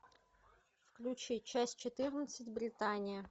включи часть четырнадцать британия